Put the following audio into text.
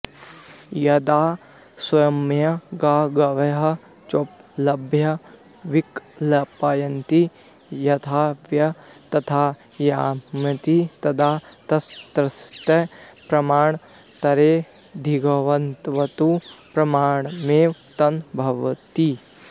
यदा स्वयमेव गां गवयं चोपलभ्य विकल्पयति यथाऽयं तथाऽयमिति तदा तस्यार्थस्य प्रमाणान्तरेणाधिगतत्वात् प्रमाणमेव तन्न भवतीति